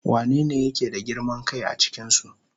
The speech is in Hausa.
Wanene yake da girman kai a cikinsu?